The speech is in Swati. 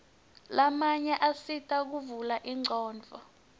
lamanye asita kuvula ingcondvo